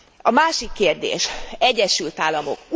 A másik kérdés Egyesült Államok.